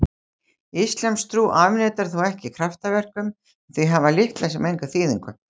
Íslamstrú afneitar þó ekki kraftaverkum en þau hafa litla sem enga þýðingu.